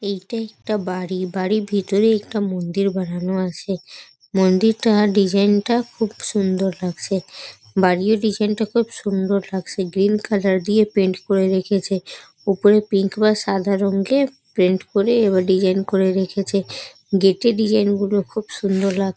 এইটা একটা বাড়ি বাড়ির ভিতরে একটা মন্দির বানানো আছে মন্দিরটা ডিস্যাইন -টা খুব সুন্দর লাগছে বাড়ির ডিসাইন -টা খুব সুন্দর লাগছে গ্রীন কালার দিয়ে পেইন্ট করে রেখেছে উপরে পিঙ্ক বা সাদা দিয়ে পেইন্ট করে বা ডিসাইন করে রেখেছে গেট -এর ডিসাইন গুলো খুব সুন্দর লাগ্--